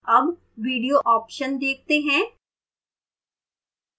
अब video option देखते हैं